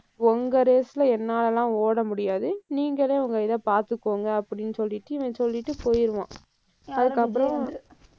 உங்க race ல என்னால எல்லாம் ஓட முடியாது. நீங்களே உங்க இதை பார்த்துக்கோங்க, அப்படின்னு சொல்லிட்டு இவன் சொல்லிட்டு போயிருவான். அதுக்கப்புறம்,